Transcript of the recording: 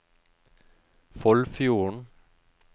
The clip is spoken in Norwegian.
Foldfjorden